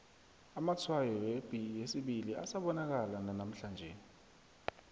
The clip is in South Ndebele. amatshwayo yepi yesibili asabonakala nanamhlanje